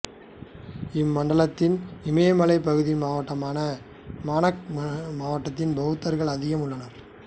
இம்மண்டலத்தின் இமயமலைப் பகுதி மாவட்டமான மனாங் மாவட்டத்தில் பௌத்தர்கள் அதிகம் உள்ளனர்